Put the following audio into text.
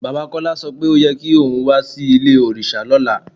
Baba Kọla sọ pé o yẹ̀ kí ọ̀un wà sí ilẹ̀-ọ̀rìṣà lọ́lá